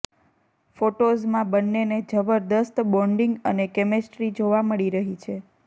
ફોટોઝમાં બંનેને જબરદસ્ત બોન્ડિંગ અને કેમેસ્ટ્રી જોવા મળી રહી છે